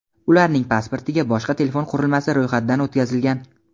ularning pasportiga boshqa telefon qurilmasi ro‘yxatdan o‘tkazilgan.